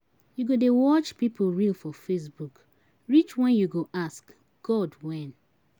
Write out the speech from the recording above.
You go dey watch pipu reel for Facebook reach wen you go ask 'God when'?